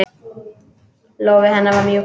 Lófi hennar var mjúkur.